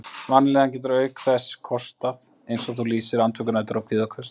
Vanlíðan getur auk þess kostað, eins og þú lýsir, andvökunætur og kvíðaköst.